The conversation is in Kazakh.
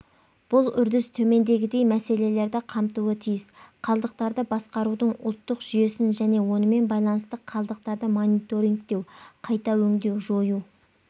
бұл үрдіс төмендегідей мәселелерді қамтуы тиіс қалдықтарды басқарудың ұлттық жүйесін және онымен байланысты қалдықтарды мониторингтеу қайта өңдеу жою